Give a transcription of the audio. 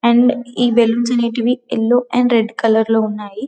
And ఈ balloons అనేటివి yellow and red colour లో ఉన్నాయి.